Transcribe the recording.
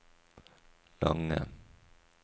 lange